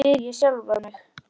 spyr ég þá sjálfan mig.